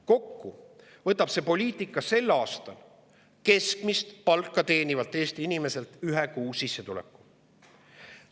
Kokku võtab see poliitika keskmist palka teenivalt Eesti inimeselt sel aastal ühe kuu sissetuleku.